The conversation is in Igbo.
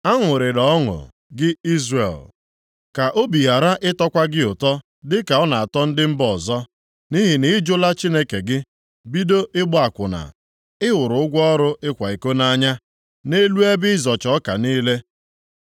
Aṅụrịla ọṅụ, gị Izrel, ka obi ghara ịtọkwa gị ụtọ dịka ọ na-atọ ndị mba ọzọ, nʼihi na ị jụla Chineke gị, bido ịgba akwụna i hụrụ ụgwọ ọrụ ịkwa iko nʼanya nʼelu ebe ịzọcha ọka niile.